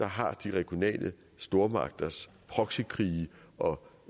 har de regionale stormagters proxykrige og